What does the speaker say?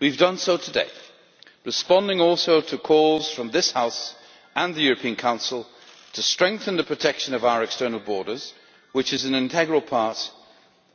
We have done so today, responding to calls from this House and the European Council to strengthen the protection of our external borders, which is an integral part